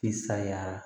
I sayara